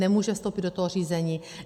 Nemůže vstoupit do toho řízení.